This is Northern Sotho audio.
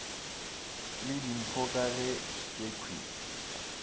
le dimpho ka ge tšekhwi